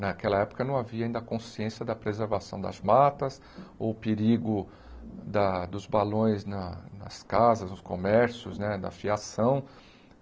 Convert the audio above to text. Naquela época, não havia ainda a consciência da preservação das matas, ou o perigo da dos balões nas casas, nos comércios né, da fiação.